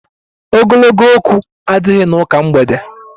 Ogologo okwu adighi n'ụka mgbede